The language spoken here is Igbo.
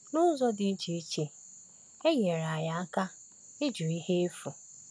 N’ụzọ ndị dị iche, e nyere anyị aka ịjụ ihe efu.